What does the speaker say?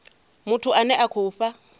muthu ane a khou fha